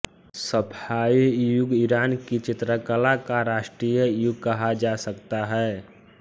सफ़ावी युग ईरान की चित्रकला का राष्ट्रीय युग कहा जा सकता है